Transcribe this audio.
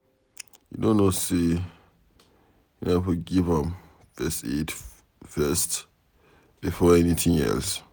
You no know say una for give am first aid first before anything else.